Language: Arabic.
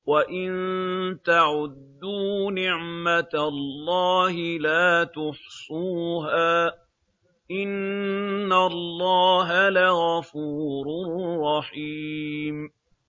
وَإِن تَعُدُّوا نِعْمَةَ اللَّهِ لَا تُحْصُوهَا ۗ إِنَّ اللَّهَ لَغَفُورٌ رَّحِيمٌ